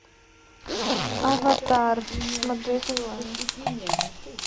аватар смотреть онлайн